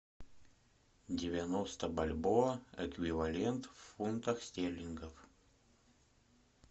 девяносто бальбоа эквивалент в фунтах стерлингов